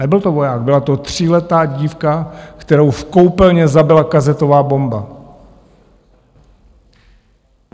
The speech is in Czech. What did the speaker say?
Nebyl to voják, byla to tříletá dívka, kterou v koupelně zabila kazetová bomba.